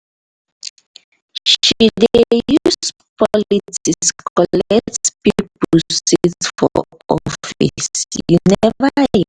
she dey use politics collect pipo seat for office you neva hear?